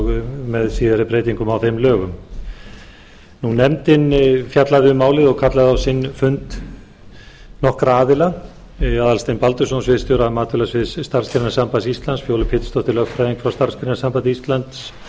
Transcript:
með síðari breytingum á þeim lögum nefndin hefur fjallað um málið og fengið á sinn fund aðalstein baldursson sviðsstjóra matvælasviðs starfsgreinasambands íslands fjólu pétursdóttur lögfræðing frá starfsgreinasambandi íslands og